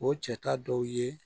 O cɛ ta dɔw ye